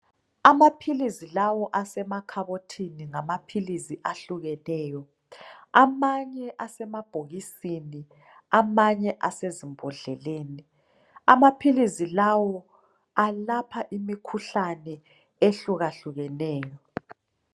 Amaphilizi lawo asemakhabothini ngamaphilisi ehlukeneyo amanye asemabhokisini amanye asezimbodleleni amaphilisi lawo alapha imikhuhlane ehlukahlukeneyo